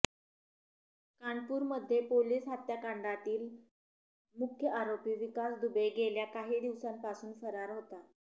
कानपूरमध्ये पोलीस हत्याकांडातील मुख्य आरोपी विकास दुबे गेल्या काही दिवसांपासून फरार होता